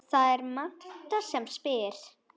Það er Marta sem spyr.